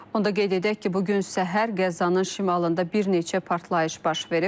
Onda qeyd edək ki, bu gün səhər Qəzzanın şimalında bir neçə partlayış baş verib.